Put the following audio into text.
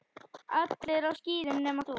Allir á skíðum nema þú.